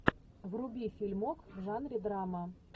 вруби фильмок в жанре драма